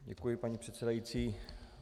Děkuji, paní předsedající.